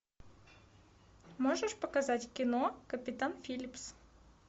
можешь показать кино капитан филлипс